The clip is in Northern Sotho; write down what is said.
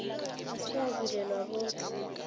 ga se a bulelwa bohle